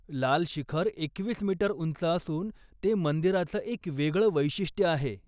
लाल शिखर एकवीस मीटर उंच असून ते मंदिराचं एक वेगळं वैशिष्ट्य आहे.